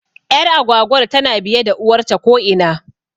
Ƴar agwagwar tana biye da uwarta ko ina